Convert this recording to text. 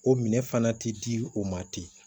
O minɛ fana tɛ di o ma ten